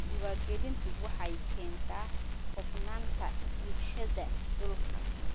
Diiwaangelintu waxay keentaa hufnaanta iibsashada dhulka.